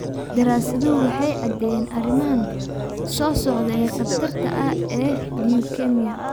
Daraasaduhu waxay caddeeyeen arrimahan soo socda ee khatarta ah ee leukemia.